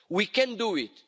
We can do it.